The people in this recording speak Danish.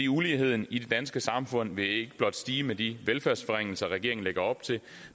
uligheden i det danske samfund vil ikke blot stige med de velfærdsforringelser regeringen lægger op til